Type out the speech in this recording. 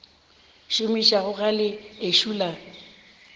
šomišago ga le ešo la